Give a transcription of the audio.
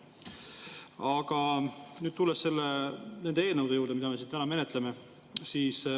Aga nüüd tulen nende eelnõude juurde, mida me täna menetleme.